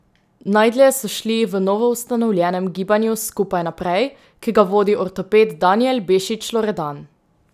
Najdlje so šli v novoustanovljenem gibanju Skupaj Naprej, ki ga vodi ortoped Danijel Bešič Loredan.